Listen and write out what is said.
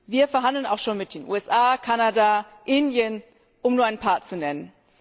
Wir verhandeln auch schon mit den USA, Kanada, Indien, um nur ein paar zu nennen.